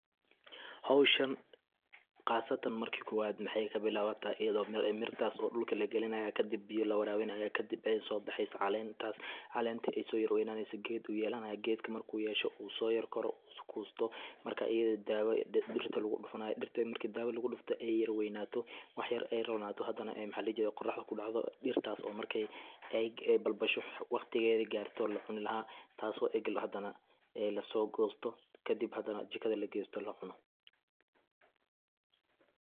Howshan qastaan marka kowaad waxey kabilawataa iaydoo mirtas oo dhulka lagalinayo oo kadib biya lawarabinayo kadib ay so baxesa calentas , calenta ay so yar weynaneso ged u yelanayo, gedka marku so yar koro kusto marka ida ah dawo dirta lagu dufanayo , dirta marki dawo lagu dufto ay yara weynato wax yar ay yara ronato hadana ay qoraxda kudacdo dirtas oo markay ay balbasho waqtigeda garto oo lacuni laha taso ega hadana laso gosto kadib hadana jikada lagesto oo lacuno .